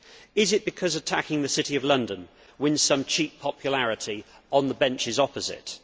Is it because attacking the City of London wins some cheap popularity on the benches opposite?